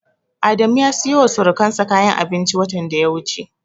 Adamu ya siyowa surukansa kayan abinci watan da ya wuce.